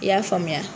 I y'a faamuya